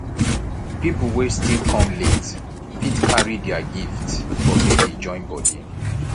pipol wey still kom late fit carry dia gifts for baby join body